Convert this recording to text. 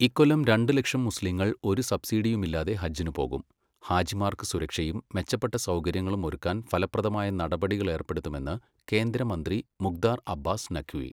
ഇക്കൊല്ലം രണ്ട് ലക്ഷം മുസ്ലീങ്ങൾ ഒരു സബ്സിഡിയുമില്ലാതെ ഹജ്ജിന് പോകും. ഹാജിമാർക്ക് സുരക്ഷയും, മെച്ചപ്പെട്ട സൗകര്യങ്ങളും ഒരുക്കാൻ ഫലപ്രദമായ നടപടികൾ ഏർപ്പെടുത്തുമെന്ന് കേന്ദ്രമന്ത്രി മുഖ്താർ അബ്ബാസ് നഖ്വി.